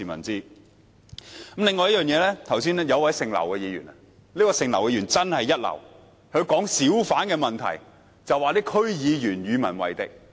此外，剛才有位劉姓議員發言——這位劉姓議員真的一流——她談及小販的問題，指區議員與民為敵。